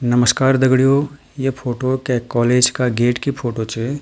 नमश्कार दगड़ियों ये फोटो कै कॉलेज का गेट की फोटो च।